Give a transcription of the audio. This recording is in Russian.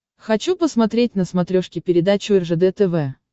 хочу посмотреть на смотрешке передачу ржд тв